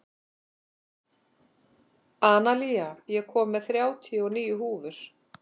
Analía, ég kom með þrjátíu og níu húfur!